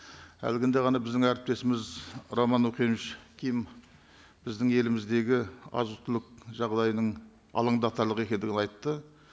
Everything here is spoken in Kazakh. әлгінде ғана біздің әріптесіміз роман охенович ким біздің еліміздегі азық түлік жағдайының алаңдатарлық екендігін айтты